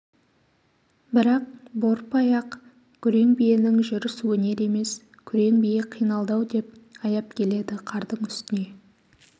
бірақ борпы аяқ күрең биенің жүріс өнер емес күрең бие қиналды-ау деп аяп келеді қардың үстіне